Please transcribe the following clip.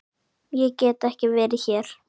Ég get ekki verið hér.